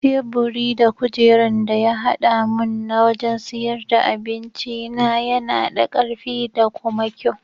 Teburi da kujeran da ya haɗa mun na wajan siyar da abincina yana da karfi da kuma kyau.